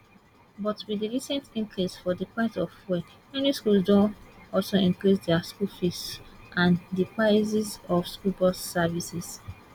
but wit di recent increase for di price of fuel many schools don also increase di school fees and dia prices of school bus services